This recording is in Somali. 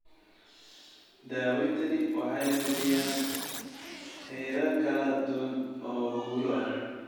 Daaweyntani waxay bixiyaan heerar kala duwan oo guulo ah.